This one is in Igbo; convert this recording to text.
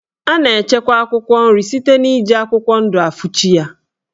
A na-echekwa akwụkwọ nri site n'iji akwụkwọ ndụ afuchi ya.